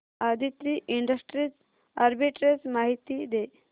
Aditri industries arbitrage माहिती दे